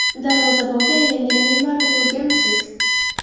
Darvozabonga aylangan Neymarni ko‘rganmisiz?